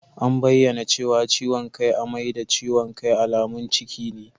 An bayyana cewa ciwon kai, amai da ciwon kai alamun ciki ne.